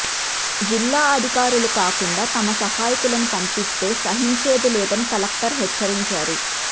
జిల్లా అధికారులు కాకుండా తమ సహాయకులను పంపిస్తే సహిం చేదిలేదని కలెక్టర్ హెచ్చరించారు